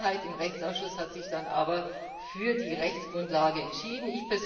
Die Mehrheit im Rechtsausschuss hat sich dann aber für die Rechtsgrundlage entschieden.